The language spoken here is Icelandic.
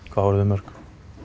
hvað voru þau mörg